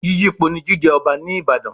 Yíyípo ni jíjẹ Ọba ní Ìbàdàn.